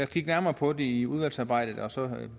kigge nærmere på det i udvalgsarbejdet og så